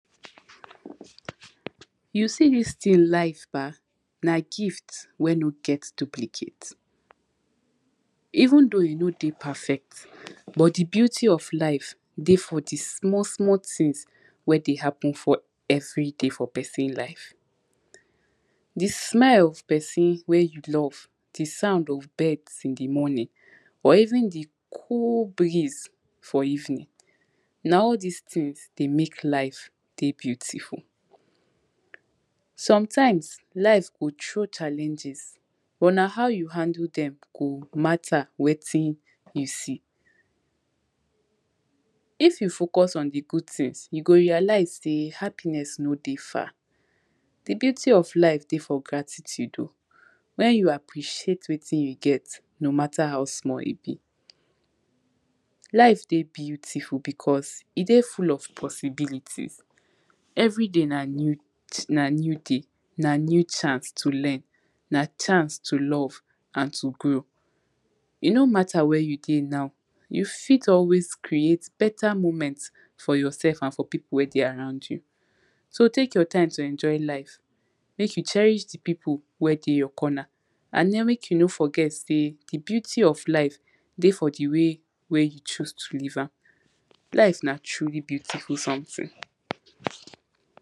You see dis tin life bah, na gift wey no get duplicate, even though e no dey perfect but di beauty of life dey for di small small tins wey dey happen for everyday for pesin life, di smell of pesin wey you love, di sounds of birds in di morning or even di cool breeze for evening na all dis tins dey make life dey beautiful, sometimes life go throw challenges but na how you handle dem go matter wetin you see, if you focus on di good tins you go realize sey happiness no dey far, di beauty of life dey for gratitude oh wen you appreciate wetin you get no matter how small e be. Life dey beautiful becos e dey full of possibilities, everyday na new day, na new chance to learn, na chance to love and to grow, e no matter where you dey now you fit always create better moment for your sef and for pipu wey dey around you, so take your time to enjoy life make you cherish di pipu wey dey your corner and den make you no forget sey di beauty of life dey for di way wey you choose to live am, live na true really beautiful something.